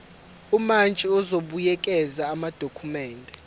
umantshi uzobuyekeza amadokhumende